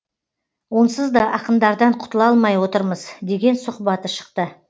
онсызда ақындардан құтыла алмай отырмыз деген сұхбаты шықты